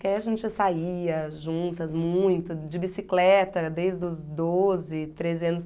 Porque aí a gente saía juntas muito, de bicicleta, desde os doze, treze anos.